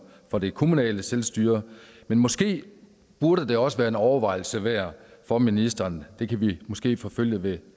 for det kommunale selvstyre men måske burde det også være en overvejelse værd for ministeren det kan vi måske forfølge ved en